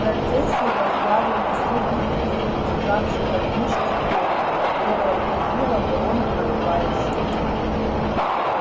процессию возглавлял высокий призрак державший под мышкой голову которая трубила в рог надувая щеки